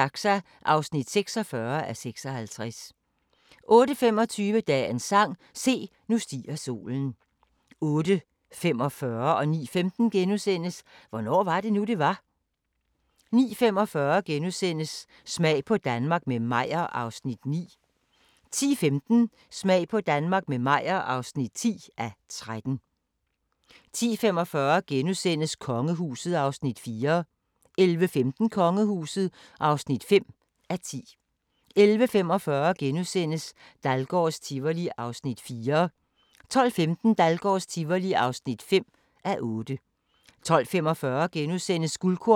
10:45: Kongehuset (4:10)* 11:15: Kongehuset (5:10) 11:45: Dahlgårds Tivoli (4:8)* 12:15: Dahlgårds Tivoli (5:8) 12:45: Guldkorn - Danmark i 1969 * 13:35: Danske Mad Men: Fede tider i reklamebranchen (tor-fre) 14:35: Hvornår var det nu, det var? 15:05: Store danskere - Leif Panduro * 15:45: Store danskere – Erik Scavenius 16:25: Dagbog fra Woodstock - søndag (3:3)*